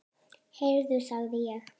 Heyrðu sagði ég.